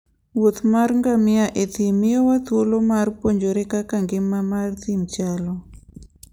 wuoth mar ngamia e thim miyowa thuolo mar puonjore kaka ngima mar thim chalo.